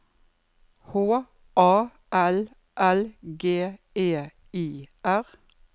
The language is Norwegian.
H A L L G E I R